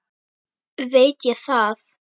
Veit ég það.